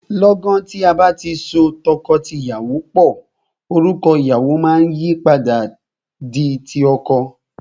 Lọ́gan tí a bá ti so tọkọtìyàwó pò, orúkọ ìyàwọ máa yìí padà di ti ọkọ.